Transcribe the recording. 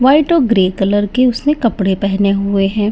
White और grey colour के उसने कपड़े पेहने हुए हैं।